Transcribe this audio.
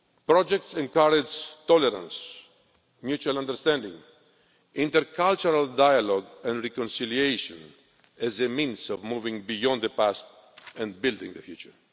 Projects encourage tolerance, mutual understanding, intercultural dialogue and reconciliation as a means of moving beyond the past and building the future.